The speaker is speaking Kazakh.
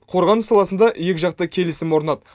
қорғаныс саласында екі жақты келісім орнады